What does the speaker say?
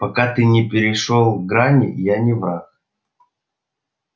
пока ты не перешёл грани я не враг